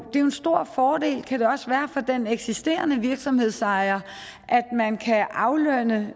en stor fordel for den eksisterende virksomhedsejer at man kan aflønne